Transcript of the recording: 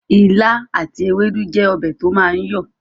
Ìlà àti ewédú jẹ́ ọbẹ̀ to máa ń yọ